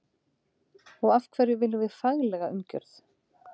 Og af hverju viljum við faglega umgjörð?